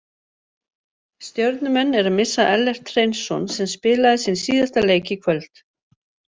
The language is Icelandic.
Stjörnumenn eru að missa Ellert Hreinsson sem spilaði sinn síðasta leik í kvöld.